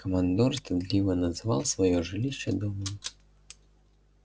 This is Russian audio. командор стыдливо называл своё жилище домом